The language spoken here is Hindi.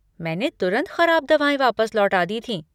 मैंने तुरंत ख़राब दवाएँ वापस लौटा दी थीं।